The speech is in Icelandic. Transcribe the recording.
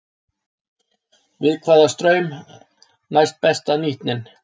Við hvaða straum næst besta nýtnin?